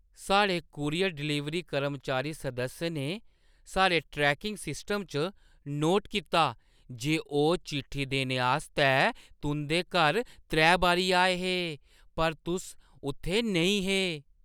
साढ़े courier delivery कर्मचारी सदस्य ने साढ़े ट्रैकिंग सिस्टम च नोट कीता जे ओह् चिट्ठी देने आस्तै तुंʼदे घर त्रै बारी आए हे, पर तुस उत्थै नेईं हे।